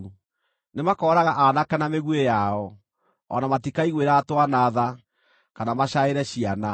Nĩmakooraga aanake na mĩguĩ yao; o na matikaiguĩra twana tha, kana macaĩre ciana.